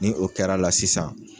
Ni o kɛra la sisan.